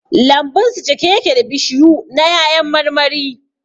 Lambun su cike yake da bishiyu na 'ya'yan marmari